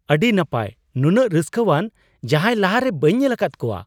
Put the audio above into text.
ᱟᱹᱰᱤ ᱱᱟᱯᱟᱭ ! ᱱᱩᱱᱟᱹᱜ ᱨᱟᱹᱥᱠᱟᱹᱣᱟᱱ ᱡᱟᱦᱟᱭ ᱞᱟᱦᱟᱨᱮ ᱵᱟᱹᱧ ᱧᱮᱞᱟᱠᱟᱫ ᱠᱚᱣᱟ !